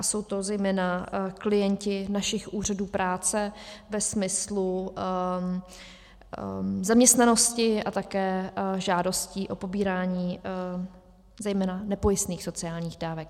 A jsou to zejména klienti našich úřadů práce ve smyslu zaměstnanosti a také žádostí o pobírání zejména nepojistných sociálních dávek.